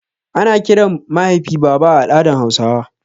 Ana kiran mahaifi baba a al'adan hausawa